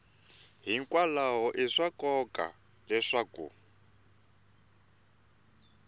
hikwalaho i swa nkoka leswaku